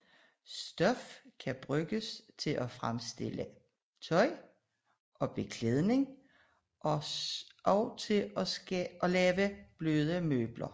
Stof kan bruges til at fremstille beklædning og tøj og også til at skabe bløde møbler